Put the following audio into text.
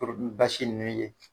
basi ni ye.